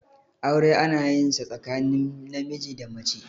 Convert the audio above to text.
aure ana yin sa tsakanin namiji da mace